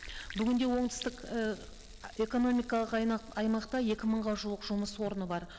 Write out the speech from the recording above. бүгінде оңтүстік ііі экономикалық аймақта екі мыңға жуық жұмыс орны быр